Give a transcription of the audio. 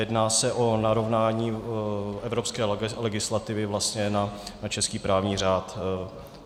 Jedná se o narovnání evropské legislativy na český právní řád.